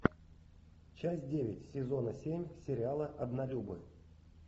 часть девять сезона семь сериала однолюбы